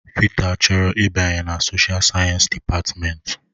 Peter chọrọ ịbanye na soshial sayensị dịpatmenti.